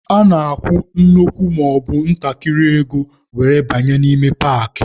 A na-akwụ nnukwu maọbụ ntakịrị ego were banye n'ime paakị.